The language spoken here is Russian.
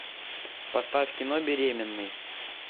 поставь кино беременный